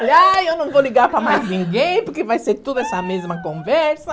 Ah, eu não vou ligar para mais ninguém, porque vai ser tudo essa mesma conversa.